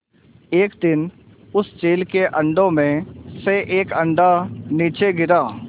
एक दिन उस चील के अंडों में से एक अंडा नीचे गिरा